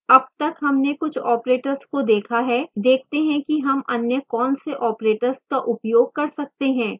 अब तक हमने कुछ operators को देखा है देखते हैं कि हम अन्य कौन से operators का उपयोग कर सकते हैं